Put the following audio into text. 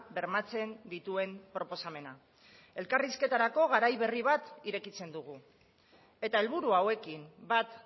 bermatzen dituen proposamena elkarrizketarako garai berri bat irekitzen dugu eta helburu hauekin bat